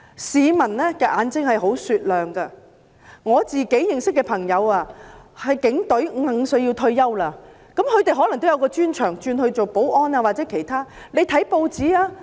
市民的眼睛十分雪亮，我認識的警隊朋友要在55歲退休，具備專長的可以轉任保安或其他工作。